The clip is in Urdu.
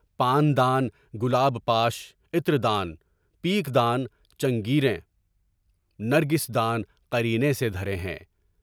پان دان، گلاب پاش، عِطر دان، پیک دان، چنگیر یں، نرگس دان قریبے سے دھرے ہیں۔